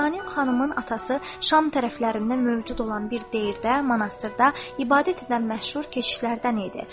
Şahanin xanımın atası Şam tərəflərində mövcud olan bir deyrdə, monastırda ibadət edən məşhur keşişlərdəndir.